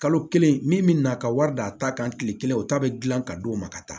Kalo kelen min bɛ na ka wari d'a ta kan tile kelen o ta bɛ dilan ka d'o ma ka taa